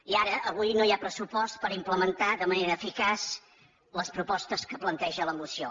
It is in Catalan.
i ara avui no hi ha pressupost per implementar de manera eficaç les propostes que planteja la moció